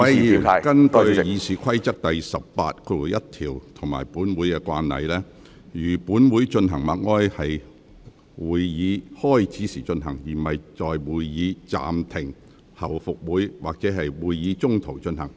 各位議員，根據《議事規則》第181條及本會慣例，如本會進行默哀，會在會議開始時進行，而不會在會議暫停後復會時，或會議中途進行。